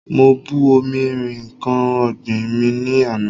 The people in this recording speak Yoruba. Mo bu omi rin nǹkan ọ̀gbìn mi ní àná.